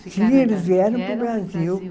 Sim, eles vieram para o Brasil.